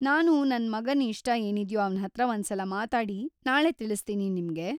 ನಾನು ನನ್ ಮಗನ್ ಇಷ್ಟ ಏನಿದ್ಯೋ ಅವ್ನ್‌ಹತ್ರ ಒಂದ್ಸಲ ಮಾತಾಡಿ ನಾಳೆ ತಿಳಿಸ್ತೀನಿ ನಿಮ್ಗೆ.